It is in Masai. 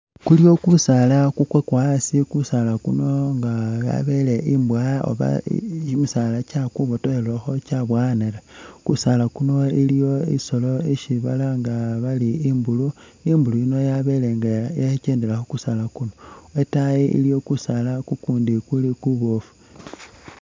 Kuliyo kusaala kukwakwa asi, kusaala kuno nga abele imbowa oba kimisaala kyakwibotokhelekhi kyaboyanakho. Kusaala kuno iliwo isolo isi balanga bari imbulu, imbulu yino yabele nga khekendela khu kusaala kuno. Lwatayi iliyo kusaala kukundi kuli kuboofu.